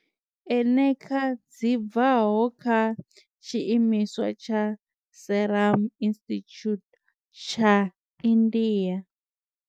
Eneca dzi bvaho kha tshiimiswa tsha Serum Institute tsha India.